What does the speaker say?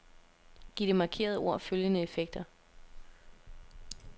Giv det markerede ord følgende effekter.